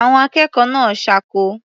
Àwọn akẹ́kọ̀ọ́ náà ṣáko.